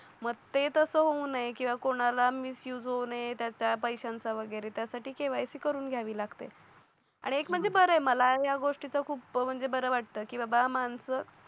मते तसं होऊ नये किंवा कोणाला मिस यु जाऊ नये त्याचा पैशांचा वगैरे त्यासाठी केवायसी करून घ्यावी लागत आनि एक म्हणजे बर आहे मला या गोष्टीचा खूप म्हणजे बरं वाटतं की बा माणसं